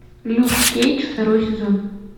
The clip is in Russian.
люк кейдж второй сезон